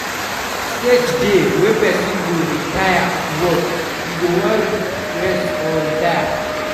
Stage dey wey person go don tire to work, e go wan rest or retire